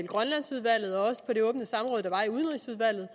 grønlandsudvalget og på det åbne samråd der var i udenrigsudvalget